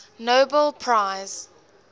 nobel prize